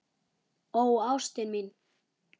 Ó ástin mín.